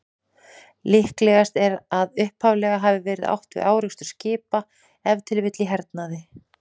Líklegast er að upphaflega hafi verið átt við árekstur skipa, ef til vill í hernaði.